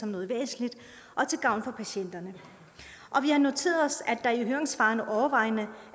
noget væsentligt og til gavn for patienterne vi har noteret os at der i høringssvarene overvejende